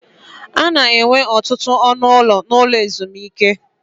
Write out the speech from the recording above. A na-enwe ọtụtụ ọnụ ụlọ n'ụlọ ezumike.